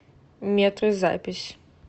метры запись